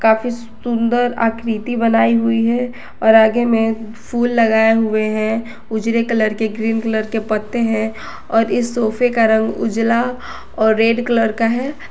काफी सुंदर आकृति बनाई हुई है और आगे में फूल लगाया हुए है उजले कलर के ग्रीन कलर के पत्ते हैं और इस सोफे का रंग उजला और रेड कलर का है।